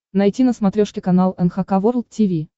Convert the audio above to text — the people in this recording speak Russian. найти на смотрешке канал эн эйч кей волд ти ви